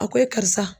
A ko e karisa